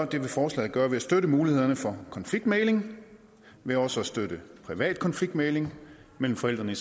det vil forslaget gøre ved at støtte mulighederne for konfliktmægling ved også at støtte privat konfliktmægling mellem forældrene i